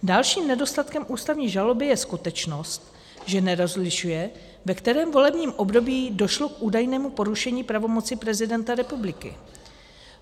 Dalším nedostatkem ústavní žaloby je skutečnost, že nerozlišuje, ve kterém volebním období došlo k údajnému porušení pravomoci prezidenta republiky.